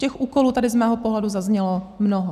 Těch úkolů tady z mého pohledu zaznělo mnoho.